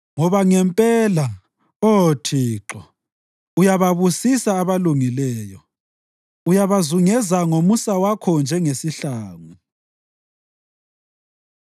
Ngoba ngempela, Oh Thixo, uyababusisa abalungileyo; uyabazungeza ngomusa wakho njengesihlangu.